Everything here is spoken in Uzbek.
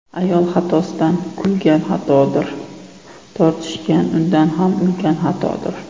Ayol xatosidan kulgan xatodir, Tortishgan undan ham ulkan xatodir.